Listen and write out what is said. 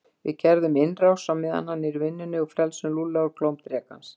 Við gerum innrás á meðan hann er í vinnunni og frelsum Lúlla úr klóm drekans